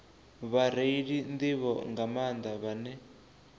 vhareili nḓivho nga maanḓa vhane